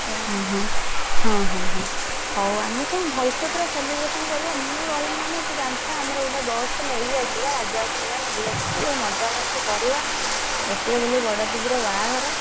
ହଁ ହଁ ହଁ ହଁ ହଉ ଆମେ ସବୁ ଭଲସେ ପୁରା celebration କରିବା ମୁଁ ରହିବି ମାନେ ତୁ ଜାଣିଥା ଆମର ଗୋଟେ box ନେଇ ଆସିବା ରାଜା କୁ କହିବା ନେଇ ଆସିବା ଟିକେ ମଜା ମସ୍ତି କରିବା ଗୋଟିଏ ବୋଲି ବଡଦିଦି ର ବାହାଘର।